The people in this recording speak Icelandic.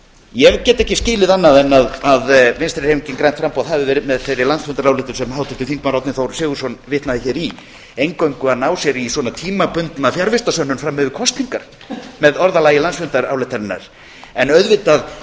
ég get ekki skilið annað en vinstri hreyfingin grænt framboð hafi verið með þeirri landsfundarályktun sem háttvirtur þingmaður árni þór sigurðsson vitnaði hér í eingöngu að ná sér í tímabundna fjarvistarsönnun fram yfir kosningar með orðalagi landsfundarályktunarinnar en auðvitað